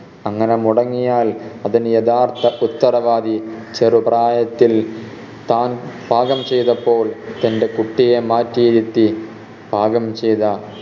അങ്ങനെ മുടങ്ങിയാൽ അതിന് യഥാർത്ഥ ഉത്തരവാദി ചെറുപ്രായത്തിൽ താൻ പാകം ചെയ്തപ്പോൾ തൻറെ കുട്ടിയെ മാറ്റിയിരുത്തി പാകം ചെയ്ത